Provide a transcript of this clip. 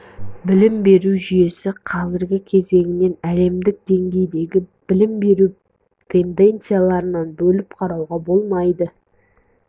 білім беру жүйесі қазіргі кезеңін әлемдік деңгейдегі білім беру тенденцияларынан бөліп қарауға болмайды